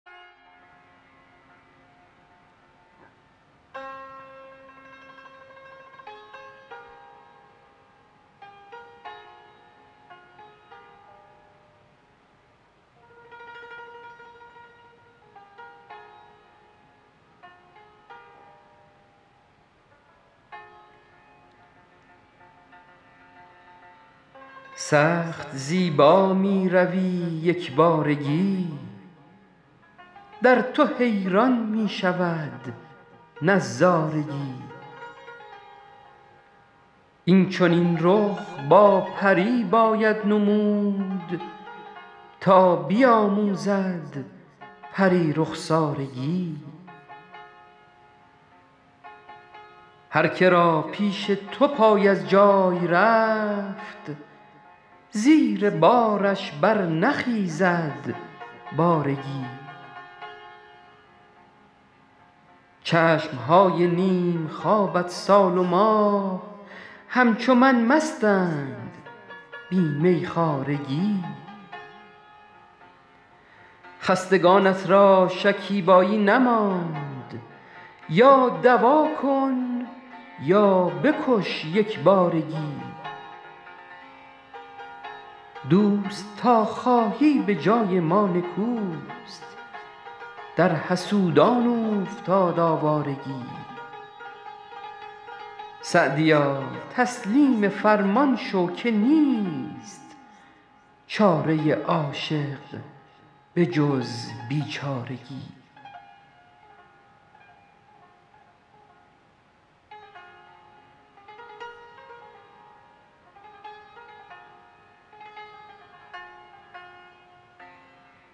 سخت زیبا می روی یک بارگی در تو حیران می شود نظارگی این چنین رخ با پری باید نمود تا بیاموزد پری رخسارگی هرکه را پیش تو پای از جای رفت زیر بارش برنخیزد بارگی چشم های نیم خوابت سال و ماه همچو من مستند بی میخوارگی خستگانت را شکیبایی نماند یا دوا کن یا بکش یک بارگی دوست تا خواهی به جای ما نکوست در حسودان اوفتاد آوارگی سعدیا تسلیم فرمان شو که نیست چاره عاشق به جز بیچارگی